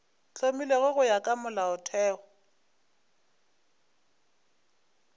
hlomilwego go ya ka molaotheo